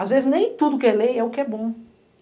Às vezes, nem tudo que é lei é o que é bom.